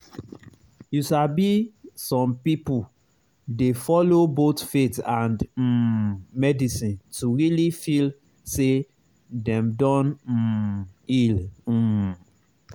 you sabi some people dey follow both faith and um medicine to really feel say dem don um heal. um